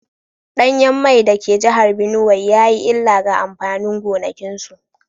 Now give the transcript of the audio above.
Danyen mai da ke jihar Binuwai ya yi illa ga amfanin gonakinsu